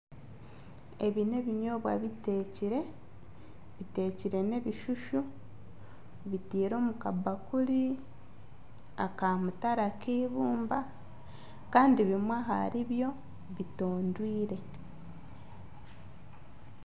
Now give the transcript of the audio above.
Ebi nebinyobwa bitekire, bitekire n'ebishushu bitiire omu kabakuri aka mutare ak'eibumba kandi bimwe ahari byo bitondweire.